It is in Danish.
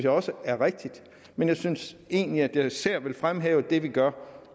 også er rigtigt men jeg synes egentlig at jeg især vil fremhæve det vi gør